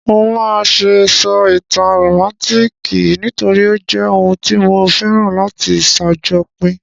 Mo máà se sọ ìtàn rómántikì nítorí o jẹ oun tí mo féràn láti sàjopín